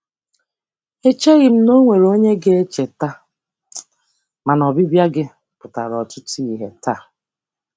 Echeghị m na e nwere onye ga-echeta, mana ọbịbịa gị pụtara ọtụtụ ihe taa.